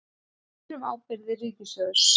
Spyr um ábyrgðir ríkissjóðs